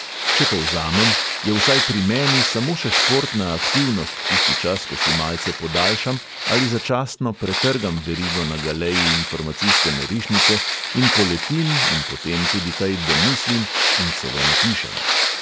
Če povzamem, je vsaj pri meni samo še športna aktivnost tisti čas, ko si malce podaljšam ali začasno pretrgam verigo na galeji informacijske norišnice in poletim in potem tudi kaj domislim in celo napišem.